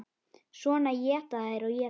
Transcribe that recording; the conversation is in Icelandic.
Svo éta þær og éta.